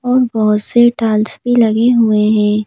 और बहुत से टाल्स भी लगे हुए हैं।